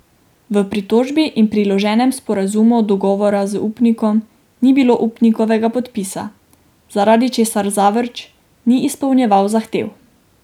V pritožbi in priloženem sporazumu dogovora z upnikom ni bilo upnikovega podpisa, zaradi česar Zavrč ni izpolnjeval zahtev.